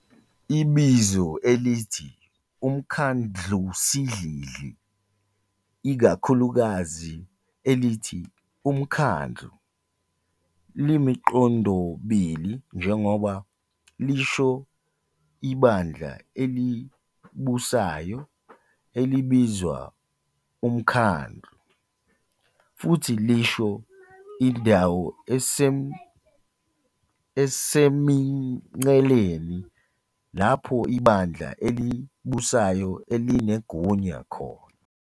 Ibizo elithi "uMkhandlusidlidli", ikakhulukazi elithi "uMkhandlu", limiqondobili njengoba lisho ibandla elibusayo, elibizwa umkhandlu, futhi lisho indawo esemingceleni lapho ibandla elibusayo elinegunya khona.